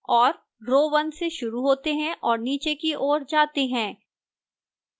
और rows 1 से शुरू होते हैं और नीचे की ओर जाते हैं